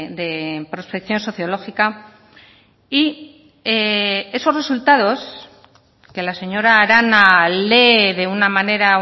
de prospección sociológica y esos resultados que la señora arana lee de una manera